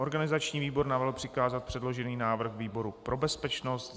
Organizační výbor navrhl přikázat předložený návrh výboru pro bezpečnost.